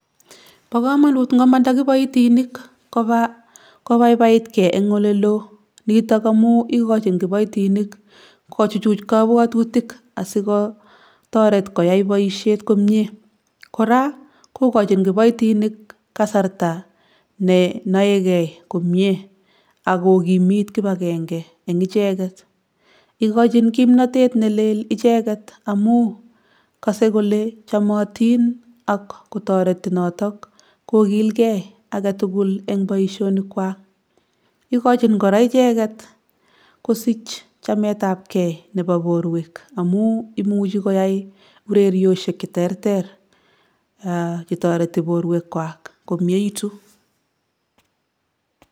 Bo komonut ngomanda kiboitinik kobaa kobaibaitge eng' oleloo. Nitok amu igochin kiboitinik kochuchuch kabwatutik asikotaret koyai boisiet komie. Koraa, kogochin kiboitinik kasarta ne noegei komie agokimit kibakenge en icheget. Igochin kimnatet nelel icheget amu kose kole chamotin ak kotoreti notok kokilgei age tugul en boisionikwak. Igochin koraa icheget kosich chametabge nebo borwek amu imuchi koyai ureryoshek che terter che toreti borwekwak komieitu.